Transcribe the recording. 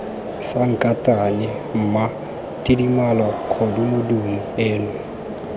sankatane mma tidimalo kgodumodumo eno